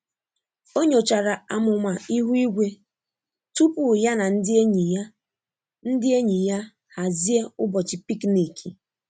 Ọ nyochara amụma ihu igwe tupu ya na ndị enyi ya ndị enyi ya hazie ụbọchị picnic.